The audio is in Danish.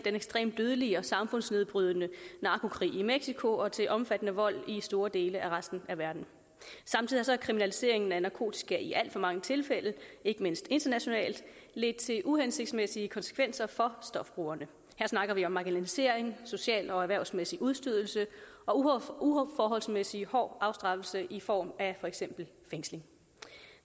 ekstremt dødelige og samfundsnedbrydende narkokrig i mexico og til omfattende vold i store dele af resten af verden samtidig har kriminaliseringen af narkotika i alt for mange tilfælde ikke mindst internationalt ledt til uhensigtsmæssige konsekvenser for stofbrugerne her snakker vi om marginalisering social og erhvervsmæssig udstødelse og uforholdsmæssig hård afstraffelse i form af for eksempel fængsling